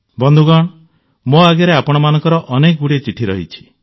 ବନ୍ଧୁଗଣ ମୋ ଆଗରେ ଆପଣମାନଙ୍କର ଅନେକଗୁଡ଼ିଏ ଚିଠି ରହିଛି